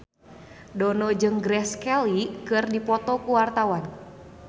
Dono jeung Grace Kelly keur dipoto ku wartawan